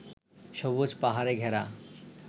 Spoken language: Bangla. সবুজ পাহাড়ে ঘেরা